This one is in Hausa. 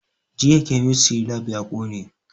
Jiya kemistry lab ya ƙone